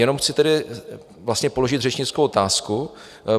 Jenom chci tedy vlastně položit řečnickou otázku.